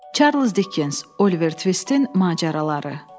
Charles Dickens, Oliver Twistin macəraları.